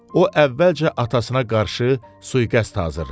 O əvvəlcə atasına qarşı sui-qəst hazırladı.